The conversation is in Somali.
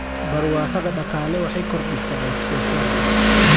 Barwaaqada Dhaqaale waxay kordhisaa wax soo saarka.